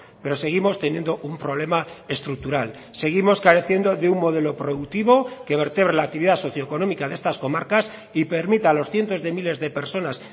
pero seguimos teniendo un problema estructural seguimos careciendo de un modelo productivo que vertebre la actividad socioeconómica de estas comarcas y permita a los cientos de miles de personas